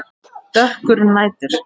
Dökkur nætur